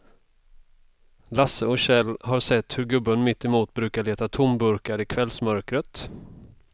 Lasse och Kjell har sett hur gubben mittemot brukar leta tomburkar i kvällsmörkret.